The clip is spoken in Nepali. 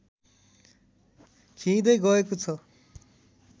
खिइँदै गएको छ